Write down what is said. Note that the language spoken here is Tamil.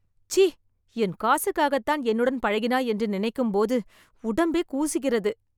சீ.. என் காசுக்காகத்தான் என்னுடன் பழகினாய் என்று நினைக்கும்போது உடம்பே கூசுகிறது.